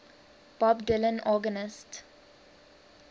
bob dylan organist